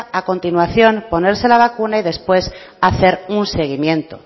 a continuación ponerse la vacuna y después hacer un seguimiento